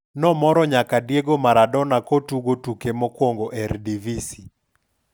nomoro nyaka Diego Maradona kotugo tuke mokwongo Eredivisie.